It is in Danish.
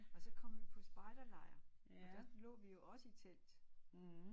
Og så kom vi på spejder lejr og der lå vi også i telt